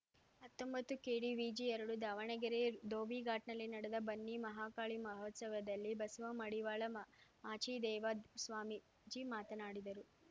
ಹತ್ತೊಂಬತ್ತುಕೆಡಿವಿಜಿಎರಡು ದಾವಣಗೆರೆ ಧೋಬಿಘಾಟ್‌ನಲ್ಲಿ ನಡೆದ ಬನ್ನಿ ಮಹಾಕಾಳಿ ಮಹೋತ್ಸವದಲ್ಲಿ ಬಸವ ಮಡಿವಾಳ ಮಾಮಾಚಿದೇವ ಸ್ವಾಮೀಜಿ ಮಾತನಾಡಿದರು